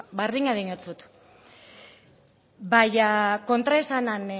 berdina diotzut baina kontraesanen